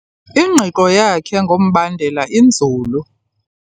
Ingqiqo yakhe ngombandela inzulu.